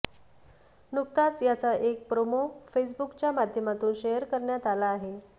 नुकताच याचा एक प्रोमो फेसबूकच्या माध्यमातून शेअर करण्यात आला आहे